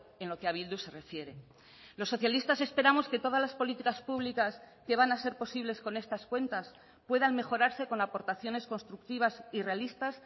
en lo que a bildu se refiere los socialistas esperamos que todas las políticas públicas que van a ser posibles con estas cuentas puedan mejorarse con aportaciones constructivas y realistas